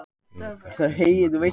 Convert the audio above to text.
Býður Björk hlut í Magma